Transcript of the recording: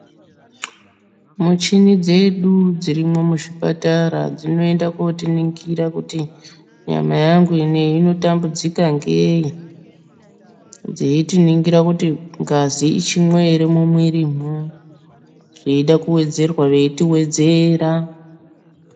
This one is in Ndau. Muchini dzedu dzirimwo muzvipatara dzinoinda kootiningira kuti nyama yangu ineyi inotambudzika ngei. Dzeitiningira kuti ngazi ichimwo here mumwiirimwo. Kuti yeida kuwedzerwa veitiwedzera.